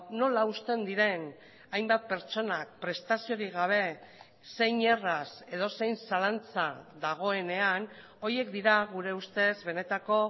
nola uzten diren hainbat pertsonak prestaziorik gabe zein erraz edozein zalantza dagoenean horiek dira gure ustez benetako